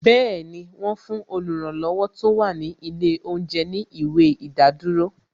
Bẹẹni, wọn fún oluranlowo tó wà ní ilé oúnjẹ ní ìwé ìdádúró